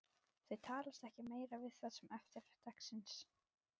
Þau talast ekki meira við það sem eftir er dagsins.